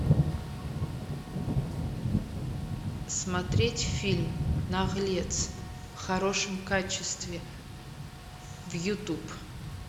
смотреть фильм наглец в хорошем качестве в ютуб